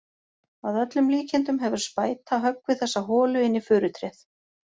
Að öllum líkindum hefur spæta höggvið þessa holu inn í furutréð.